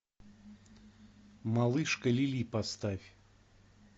малышка лили поставь